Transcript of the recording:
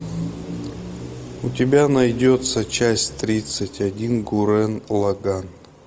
у тебя найдется часть тридцать один гуррен лаганн